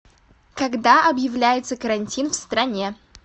когда объявляется карантин в стране